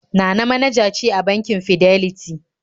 Nana manaja ce a bankin Fidelity